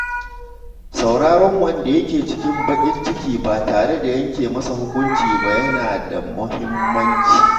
Sauraron wanda ke cikin bakin ciki ba tare da yanke masa hukunci ba yana da muhimmanci.